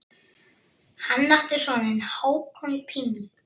Hann átti soninn Hákon Píning.